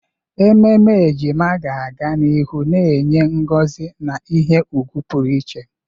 Ememe ejima ga-aga n'ihu na-enye ngozi na ihe ùgwù pụrụ iche.